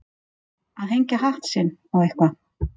Að hengja hatt sinn á eitthvað